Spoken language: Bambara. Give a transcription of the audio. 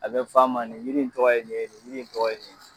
A be f'a ma nin yiri in tɔgɔ ye nin ye, nin yiri in tɔgɔ ye nin ye.